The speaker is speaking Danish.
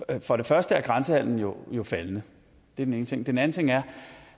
at for det første er grænsehandelen jo jo faldende det er den ene ting den anden ting er